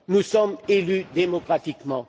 Nous sommes élus démocratiquement.